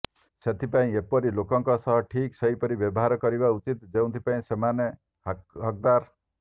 ସେଥିପାଇଁ ଏପରି ଲୋକଙ୍କ ସହ ଠିକ୍ ସେହିପରି ବ୍ୟବହାର କରିବା ଉଚିତ୍ ଯେଉଁଥିପାଇଁ ସେମାନେ ହକ୍ଦାର